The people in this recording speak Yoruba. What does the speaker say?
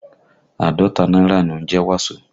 Àádọ́ta náírà ni ó ń jẹ́ Waso